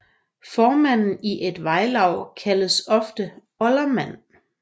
Formanden i et vejlav kaldes ofte oldermand